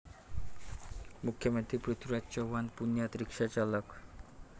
मुख्यमंत्री पृथ्वीराज चव्हाण पुण्यात रिक्षाचालक!